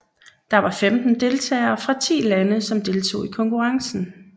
Der var femten deltagere fra ti lande som deltog i konkurrencen